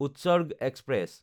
Utsarga express